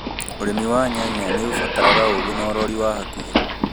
ũrĩmi wa nyanya nĩ ũbataraga ũgĩ na ũrori wa hakuhĩ